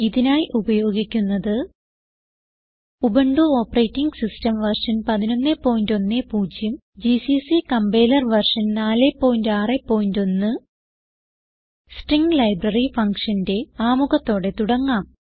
ഇതിനായി ഉപയോഗിക്കുന്നത് Ubuntu operating system version 1110 GCC compiler version 461 string library functionന്റെ ആമുഖത്തോടെ തുടങ്ങാം